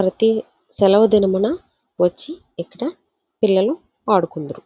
ప్రతి సెలవు దినమున వచ్చి ఇక్కడ పిల్లలు ఆడుకొందురు.